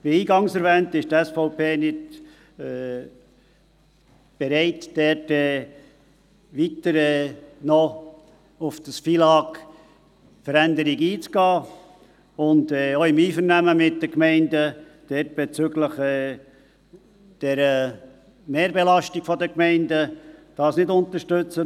Wie eingangs erwähnt, ist die SVP nicht bereit, weiter auf die FILAG-Veränderung einzugehen und die Mehrbelastung der Gemeinden im Einvernehmen mit den Gemeinden zu unterstützen.